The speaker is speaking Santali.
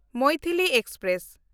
ᱢᱚᱭᱛᱷᱤᱞᱤ ᱮᱠᱥᱯᱨᱮᱥ